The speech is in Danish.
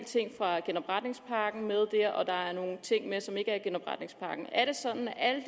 ting fra genopretningspakken med der og der er nogle ting med som ikke er i genopretningspakken er det sådan at alle